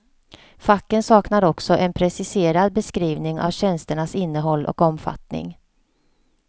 Facken saknar också en preciserad beskrivning av tjänsternas innehåll och omfatttning.